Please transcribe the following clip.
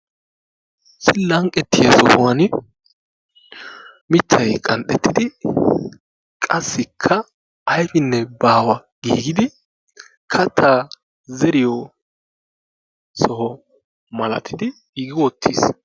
issi lanqqetiya sohuwani mitay qanxxetidi qassika aybinne baawa giidi kataa zeriyo soho malatidi giigi wotiis.